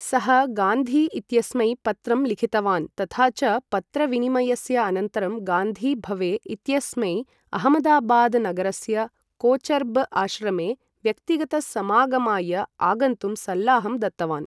सः गान्धी इत्यस्मै पत्रं लिखितवान् तथा च पत्रविनिमयस्य अनन्तरं गान्धी भवे इत्यस्मै अहमदाबादनगरस्य कोचरब आश्रमे व्यक्तिगत समागमाय आगन्तुं सल्लाहं दत्तवान् ।